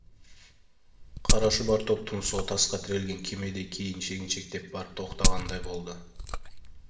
қара шұбар топ тұмсығы тасқа тірелген кемедей кейін шегіншектеп барып тоқтағандай болды